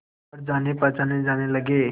पर जानेपहचाने जाने लगे